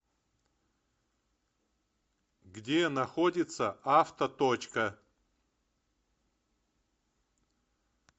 где находится авто точка